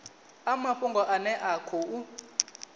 a mafhungo ane a khou